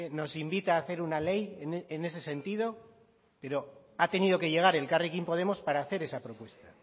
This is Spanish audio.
nos invita a hacer una ley en ese sentido pero ha tenido que llegar elkarrekin podemos para hacer esa propuesta